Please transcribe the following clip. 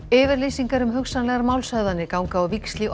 yfirlýsingar um hugsanlegar málshöfðanir ganga á víxl í